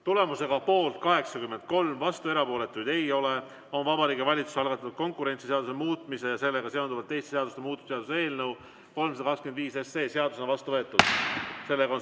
Tulemusega poolt 83, vastuolijaid ega erapooletuid ei ole, on Vabariigi Valitsuse algatatud konkurentsiseaduse muutmise ja sellega seonduvalt teiste seaduste muutmise seaduse eelnõu 325 seadusena vastu võetud.